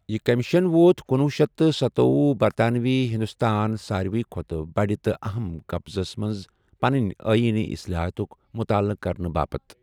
یہِ کیمشن ووت کُنوہ شیتھ تہٕ سَتوۄہُ برطانوی ہندوستان ساروے کھۅتہٕ بڑِ تہٕ أہم قبضس منٛز پنٕنۍ آینی اِصطلاحات ہُک مُطالعہ کرنہٕ باپتھ ۔